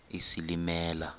isilimela